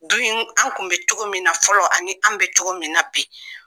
Du an kun bɛ cogo min na fɔlɔ ani an bɛ cogo min na bi